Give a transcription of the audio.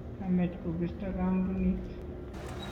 kamech kobisto kampunit